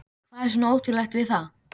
Hvað er svona ótrúlegt við það?